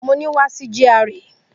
Mo ni, wa si GRA!